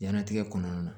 Jiɲɛnatigɛ kɔnɔna na